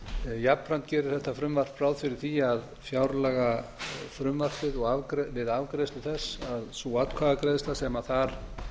jafnframt gerir þetta frumvarp ráð fyrir því að fjárlagafrumvarpið við afgreiðslu þess að sú atkvæðagreiðsla sem þar